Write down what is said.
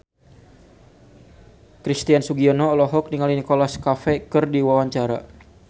Christian Sugiono olohok ningali Nicholas Cafe keur diwawancara